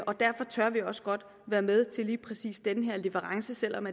og derfor tør vi også godt være med til lige præcis den her leverance selv om